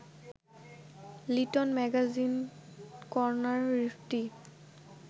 little magazine কর্নারটি